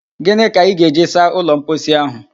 Ginị ka ị ga-eji saa ụlọ mposi ahụ?